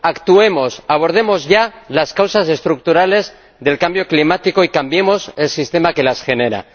Actuemos, abordemos ya las causas estructurales del cambio climático y cambiemos el sistema que las genera.